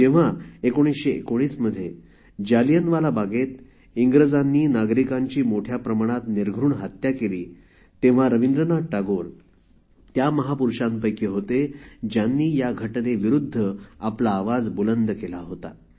जेव्हा १९१९मध्ये जालियनवाला बागेत इंग्रजांनी नागरिकांची मोठ्या प्रमाणात निर्घृण हत्या केली तेव्हा रविंद्रनाथ टागोर त्या महापुरुषांपैकी होते ज्यांनी या घटनेविरुद्ध आपला आवाज बुलंद केला होता